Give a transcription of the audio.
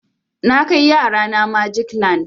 Na kai yara na magic land.